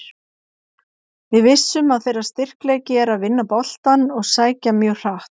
Við vissum að þeirra styrkleiki er að vinna boltann og sækja mjög hratt.